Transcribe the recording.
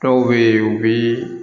Dɔw bɛ yen u bɛ